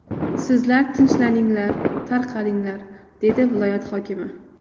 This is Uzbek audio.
Sizlar tinchlaninglar, tarqalinglar’, dedi viloyat hokimi.